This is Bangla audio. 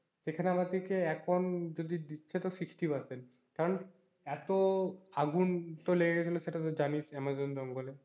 সেখানে আমাদেরকে এখন যদি দিচ্ছে তোর sixty percent কারণ এতো আগুন তো লেগে গেলে সেটা তো জানিস আমাজন জঙ্গলে,